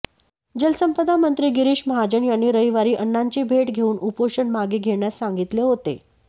जलसंपदा मंत्री गिरीश महाजन यांनी रविवारी अण्णांची भेट घेऊन उपोषण मागे घेण्यास सांगितले होते